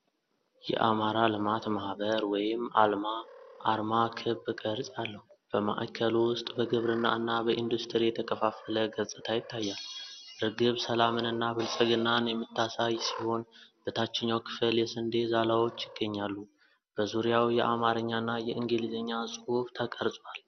የአማራ ልማት ማህበር (አልማ) አርማ ክብ ቅርጽ አለው። በማዕከሉ ውስጥ በግብርና እና በኢንዱስትሪ የተከፋፈለ ገጽታ ይታያል። እርግብ ሰላምንና ብልጽግናን የምታሳይ ሲሆን፣ በታችኛው ክፍል የስንዴ ዛላዎች ይገኛሉ። በዙሪያው የአማርኛና የእንግሊዝኛ ጽሑፍ ተቀርጿል።